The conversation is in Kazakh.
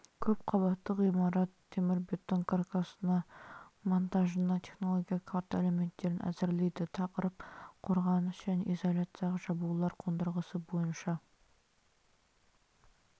көп қабатты ғимарат темірбетон каркасы монтажына технологиялық карта элементтерін әзірлейді тақырып қорғаныс және изоляциялық жабулар қондырғысы бойынша